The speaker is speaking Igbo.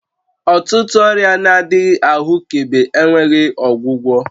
Ọtụtụ ọrịa na-adịghị ahụkebe enweghị ọgwụgwọ